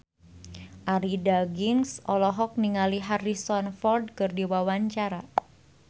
Arie Daginks olohok ningali Harrison Ford keur diwawancara